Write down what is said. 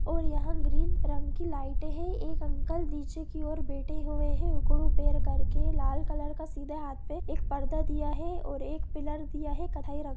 और यहां ग्रीन रंग की लाइटें है एक अंकल निचे की और बेठे हुए है लाल कलर का सिधा हाथ पे पर्दा दिया दिया है और एक पीलर दिया है कथय--